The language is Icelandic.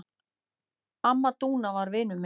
Amma Dúna var vinur minn.